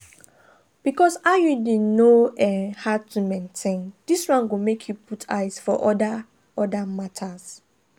because iud no um hard to maintain this one go make you put eyes for other other matters.